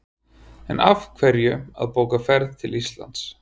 En af hverju að bóka ferð til Íslands?